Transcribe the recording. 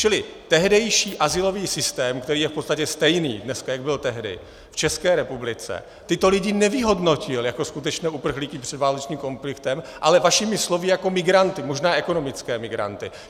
Čili tehdejší azylový systém, který je v podstatě stejný dneska, jak byl tehdy v České republice, tyto lidi nevyhodnotil jako skutečné uprchlíky před válečným konfliktem, ale vašimi slovy jako migranty, možná ekonomické migranty.